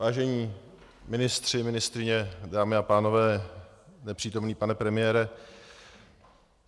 Vážení ministři, ministryně, dámy a pánové, nepřítomný pane premiére.